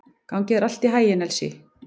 Gangi þér allt í haginn, Elsý.